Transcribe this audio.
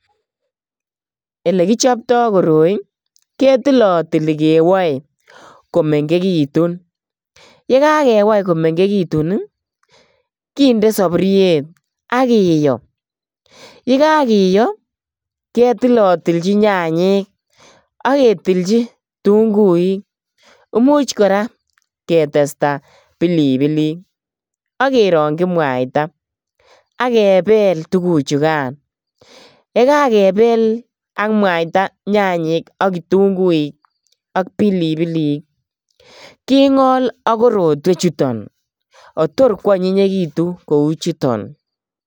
Elekichopto koroi ketilotili kewoe komengekitun. Yekakewai komengegitu kinde saburiet ak kiyo. Ye kakiyo ketilotilchi nyanyek ak ketilchi kitunguik. Imuch kora ketesta pilipilik ak kerongyi mwaita ak kepel tuguchugan. Yekakepel ak mwaita nyanyek ak kitunguik ak pilipilik kingolak korotwechuton kotor kwanyikitun kou chuton.